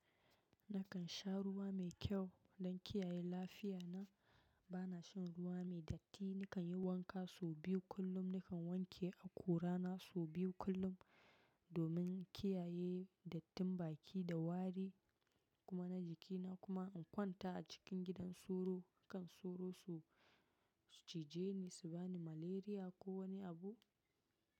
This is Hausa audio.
Nakan sha ruwa mai kyau don kiyaye lafiya na. Bana shan ruwa mai datti. Nakan yi wanka sau biyu kullum. Nakan wanke akura na sau biyu kullum domin kiyaye dattin baki da wari kuma na jiki na kuma in kwanta a cikin gidan sauro. Hakan sauro su cije ni, su ba ni malaria ko wani abu?